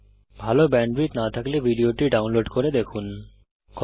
ভাল ব্যান্ডউইডথ না থাকলে আপনি ভিডিওটি ডাউনলোড করে দেখতে পারেন